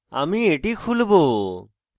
আমি এটি খুলবো